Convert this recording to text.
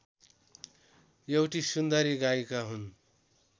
एउटी सुन्दरी गायिका हुन्